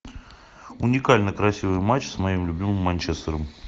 уникально красивый матч с моим любимым манчестером